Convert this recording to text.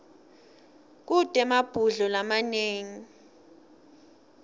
kute emabhudlo lamanengi